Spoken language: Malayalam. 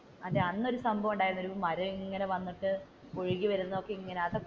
അതെ അന്നൊരു സംഭവം ഉണ്ടായില്ലേ മരം ഇങ്ങനെ വന്നിട്ട് ഒഴുകിവരുന്നത് ഇങ്ങനെ അതൊക്കെ,